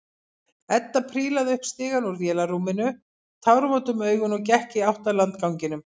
Edda prílaði upp stigann úr vélarrúminu, tárvot um augun og gekk í átt að landganginum.